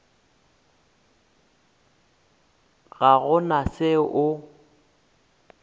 ga go na se o